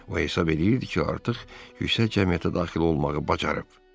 O hesab edirdi ki, artıq yüksək cəmiyyətə daxil olmağı bacarıb.